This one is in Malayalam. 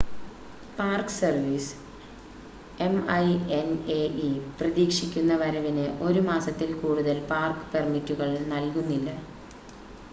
park service M I N A E പ്രതീക്ഷിക്കുന്ന വരവിന് 1 മാസത്തിൽ കൂടുതൽ പാർക്ക് പെർമിറ്റുകൾ നൽകുന്നില്ല